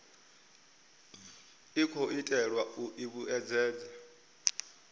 khou itelwa u i vhuedzedza